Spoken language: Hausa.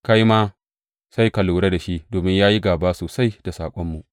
Kai ma sai ka lura da shi, domin ya yi gāba sosai da saƙonmu.